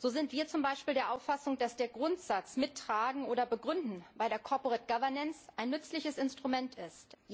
So sind wir zum Beispiel der Auffassung, dass der Grundsatz Mittragen oder begründen bei der Corporate Governance ein nützliches Instrument ist.